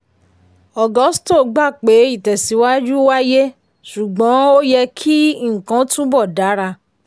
agusto gbà pé ìtẹ̀síwájú wáyé ṣùgbọ́n ó yẹ kí nǹkan túbọ̀ dara.